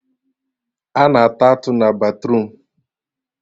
A na-ata atụ na batruum